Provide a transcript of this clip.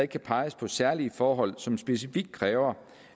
kan peges på særlige forhold som specifikt kræver